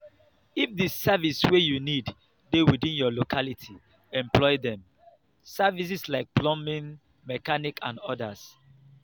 if di service wey you need dey within your locality employ dem. services like plumbing mechanic and odas